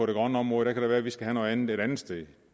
det grønne område kan det være at vi skal have noget andet et andet sted